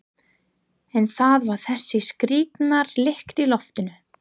En það var þessi skrýtna lykt í loftinu.